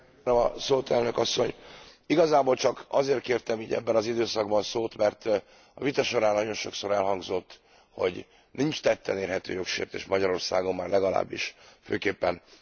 Igazából csak azért kértem ebben az időszakban szót, mert a vita során nagyon sokszor elhangzott, hogy nincs tetten érhető jogsértés Magyarországon, már legalábbis főképpen a kereszténydemokrata oldalról.